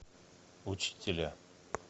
учителя